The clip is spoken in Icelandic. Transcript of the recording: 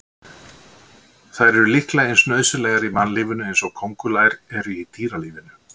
Þær eru líklega eins nauðsynlegar í mannlífinu eins og kóngulær eru í dýralífinu.